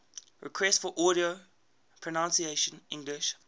requests for audio pronunciation english